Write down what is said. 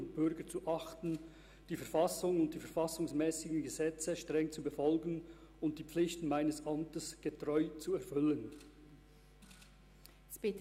Für die SP-JUSO-PSA-Fraktion nehmen folgende drei Herren Einsitz im Grossen Rat: